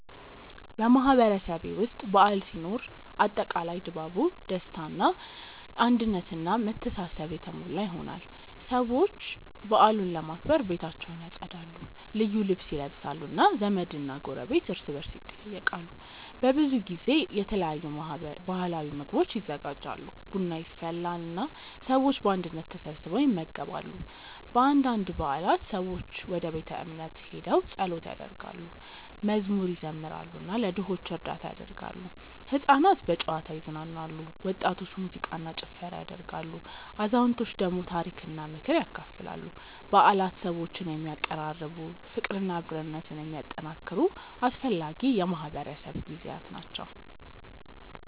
በማህበረሰቤ ውስጥ በዓል ሲኖር አጠቃላይ ድባቡ ደስታ አንድነት እና መተሳሰብ የተሞላ ይሆናል። ሰዎች በዓሉን ለማክበር ቤታቸውን ያጸዳሉ፣ ልዩ ልብስ ይለብሳሉ እና ዘመድና ጎረቤት እርስ በርስ ይጠያየቃሉ። በብዙ ጊዜ የተለያዩ ባህላዊ ምግቦች ይዘጋጃሉ፣ ቡና ይፈላል እና ሰዎች በአንድነት ተሰብስበው ይመገባሉ። በአንዳንድ በዓላት ሰዎች ወደ ቤተ እምነት ሄደው ጸሎት ያደርጋሉ፣ መዝሙር ይዘምራሉ እና ለድሆች እርዳታ ያደርጋሉ። ሕፃናት በጨዋታ ይዝናናሉ፣ ወጣቶች ሙዚቃ እና ጭፈራ ያደርጋሉ፣ አዛውንቶች ደግሞ ታሪክና ምክር ያካፍላሉ። በዓላት ሰዎችን የሚያቀራርቡ፣ ፍቅርና አብሮነትን የሚያጠናክሩ አስፈላጊ የማህበረሰብ ጊዜያት ናቸው።